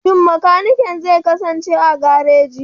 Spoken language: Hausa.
Shin makanikin zai kasance a gareji?